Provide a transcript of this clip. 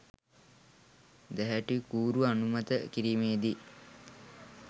දැහැටිකූරු අනුමත කිරීමේදි